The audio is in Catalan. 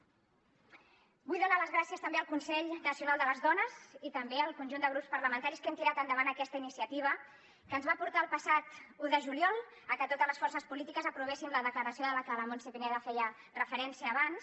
vull donar les gràcies també al consell nacional de les dones i també al conjunt de grups parlamentaris que hem tirat endavant aquesta iniciativa que ens va portar el passat un de juliol a que totes les forces polítiques aprovéssim la declaració a la que la montse pineda feia referència abans